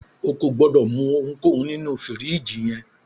O kò gbọdọ̀ mú ohunkóhun nínu fìríjìì yẹn.